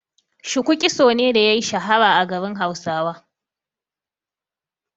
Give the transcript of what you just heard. Shuku kitso ne da yayi shuhura a garin Hausawa.